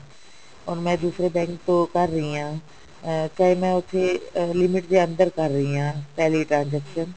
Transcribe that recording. or ਮੈਂ ਦੂਸਰੇ bank ਤੋਂ ਕਰ ਰਹੀ ਹਾਂ ਅਹ ਚਾਹੇ ਮੈਂ ਉੱਥੇ limit ਦੇ ਅੰਦਰ ਕਰ ਰਹੀ ਹਾਂ ਪਹਿਲੀ transaction